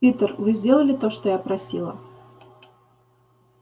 питер вы сделали то что я просила